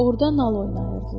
Orda nal oynayırdılar.